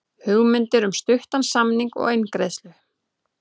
Hugmyndir um stuttan samning og eingreiðslu